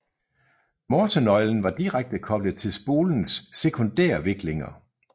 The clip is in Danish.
Morsenøglen var direkte koblet til spolens sekundærviklinger